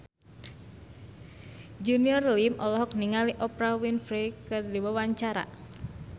Junior Liem olohok ningali Oprah Winfrey keur diwawancara